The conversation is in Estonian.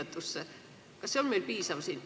Kas see töö on meil piisav?